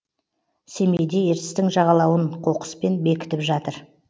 семейде ертістің жағалауын қоқыспен бекітіп жатыр